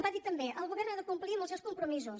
va dir també el govern ha de complir amb els seus compromisos